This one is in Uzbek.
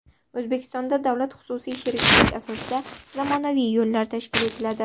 O‘zbekistonda davlat-xususiy sheriklik asosida zamonaviy yo‘llar tashkil etiladi.